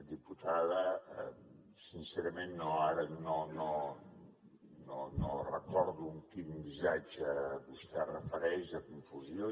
diputada sincerament ara no recordo a quin missatge vostè es refereix de confusió